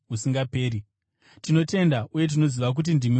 Tinotenda uye tinoziva kuti ndimi Mutsvene waMwari.”